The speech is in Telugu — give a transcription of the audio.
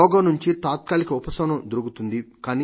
రోగం నుండి తాత్రాలిక ఉపశమనం దొరుకుతుంది